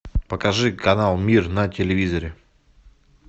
покажи канал мир на телевизоре